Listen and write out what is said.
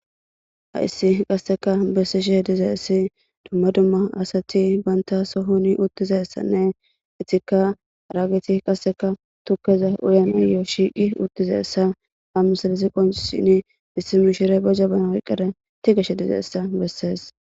ha issi qasseka bessishe diza issi dumma dumma asati banta sohoni uttiza essanne itikka raageti qasseka tukkeza uyanayoo shiiqi uttiza essa ha misalisi qonshini issi mishire beja bana wyqqare ti geshe diza essa bessees